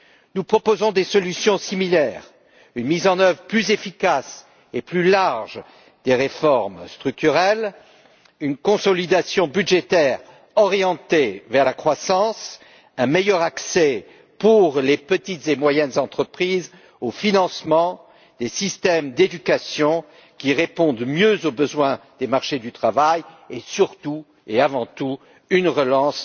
Nous proposons des solutions similaires, une mise en œuvre plus efficace et plus large des réformes structurelles, un assainissement budgétaire orienté vers la croissance, un meilleur accès au financement pour les petites et moyennes entreprises, des systèmes d'éducation qui répondent mieux aux besoins des marchés du travail, et surtout et avant tout une relance